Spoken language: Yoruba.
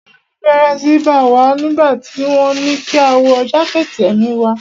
Ẹ̀rù bẹ́rẹ́ síi bá wa nígbà tí wọ́n ní kí a wọ jákẹ̀tì èmi wa.